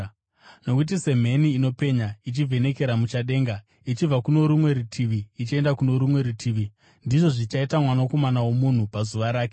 Nokuti semheni inopenya ichivhenekera muchadenga ichibva kuno rumwe rutivi ichienda kuno rumwe rutivi, ndizvo zvichaita Mwanakomana woMunhu pazuva rake.